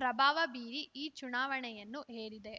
ಪ್ರಭಾವ ಬೀರಿ ಈ ಚುನಾವಣೆಯನ್ನು ಹೇರಿದೆ